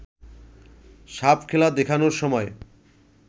সাপখেলা দেখানোর সময়